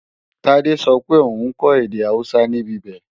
Tádé sọ pé òun kọ́ èdè Awúsá níbibẹ̀